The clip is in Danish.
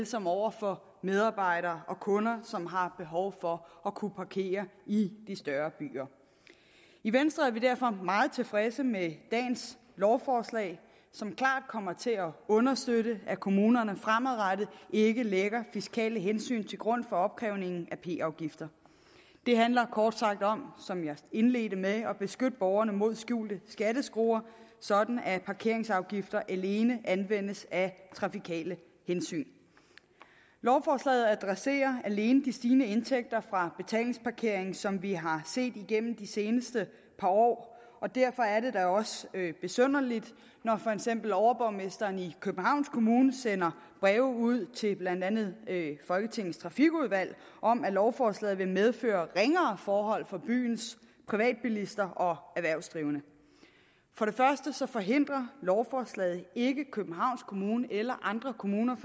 som over for medarbejdere og kunder som har behov for at kunne parkere i de større byer i venstre er vi derfor meget tilfredse med dagens lovforslag som klart kommer til at understøtte at kommunerne fremadrettet ikke lægger fiskale hensyn til grund for opkrævningen af p afgifter det handler kort sagt om som jeg indledte med at beskytte borgerne mod skjulte skatteskruer sådan at parkeringsafgifter alene anvendes af trafikale hensyn lovforslaget adresserer alene de stigende indtægter fra betalingsparkering som vi har set igennem de seneste par år og derfor er det da også besynderligt når for eksempel overborgmesteren i københavns kommune sender breve ud til blandt andet folketingets trafikudvalg om at lovforslaget vil medføre ringere forhold for byens privatbilister og erhvervsdrivende for det første forhindrer lovforslaget ikke københavns kommune eller andre kommuner